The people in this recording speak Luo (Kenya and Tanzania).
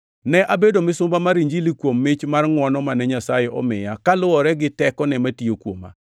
Ne abedo misumba mar Injilini kuom mich mar ngʼwono mane Nyasaye omiya kaluwore gi tekone matiyo kuoma.